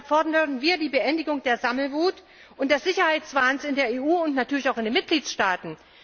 Deshalb fordern wir die Beendigung der Sammelwut und des Sicherheitswahns in der EU und natürlich auch in den Mitgliedstaaten.